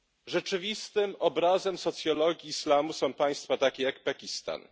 Rzeczywistym obrazem socjologii islamu są państwa takie jak Pakistan.